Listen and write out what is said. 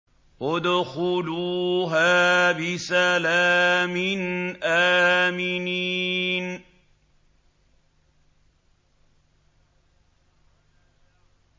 ادْخُلُوهَا بِسَلَامٍ آمِنِينَ